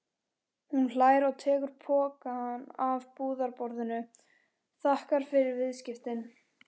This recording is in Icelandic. Hún hlær og tekur pokann af búðarborðinu, þakkar fyrir viðskiptin.